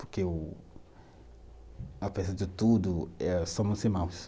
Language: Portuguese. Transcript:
Porque o, apesar de tudo eh, somos irmãos.